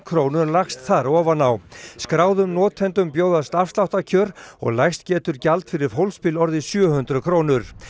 krónur lagst þar ofan á skráðum notendum bjóðast afsláttarkjör og lægst getur gjald fyrir fólksbíl orðið sjö hundruð krónur